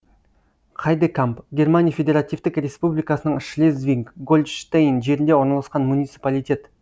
хайдекамп германия федеративтік республикасының шлезвиг гольштейн жерінде орналасқан муниципалитет